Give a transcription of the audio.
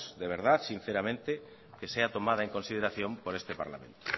de verdad sinceramente que sea tomada en consideración por este parlamento